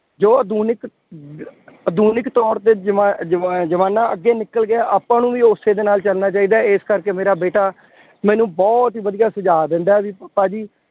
ਜੋ ਆਧੁਨਿਕ ਆਧੁਨਿਕ ਤੌਰ ਤੇ ਜ਼ਮਾ ਜ਼ਮਾਜ਼ਮਾਨਾ ਅੱਗੇ ਨਿਕਲ ਗਿਆ। ਆਪਾਂ ਨੂੰ ਵੀ ਉਸੇ ਦੇ ਨਾਲ ਚੱਲਣਾ ਚਾਹੀਦਾ ਹੈ। ਇਸ ਕਰਕੇ ਮੇਰਾ ਬੇਟਾ ਮੈਨੂੰ ਬਹੁਤ ਹੀ ਵਧੀਆ ਸੁਝਾਅ ਦਿੰਦਾ ਬਈ ਪਾਾਪ ਜੀ